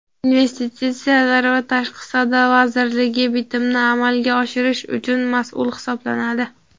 Investitsiyalar va tashqi savdo vazirligi Bitimni amalga oshirish uchun masʼul hisoblanadi.